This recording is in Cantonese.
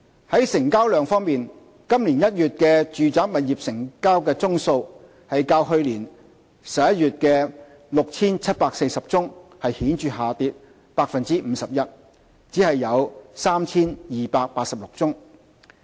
在成交量方面，今年1月的住宅物業成交宗數較去年11月約 6,740 宗顯著下跌 51%， 只有 3,286 宗。